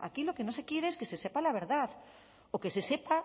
aquí lo que no se quiere es que se sepa la verdad o que se sepa